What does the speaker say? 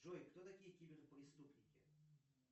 джой кто такие киберпреступники